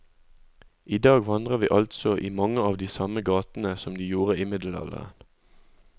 I dag vandrer vi altså i mange av de samme gatene som de gjorde i middelalderen.